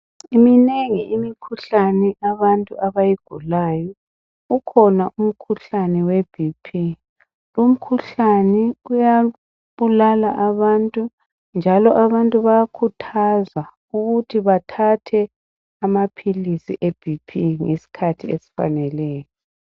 Minengi imikhuhlane abantu abayigulayo .Ukhona umkhuhlane we BP .Lumkhuhlane uyabulala abantu njalo abantu bayakhuthazwa ukuthi bathathe amaphilisi e BP ngesikhathi esifaneleyo .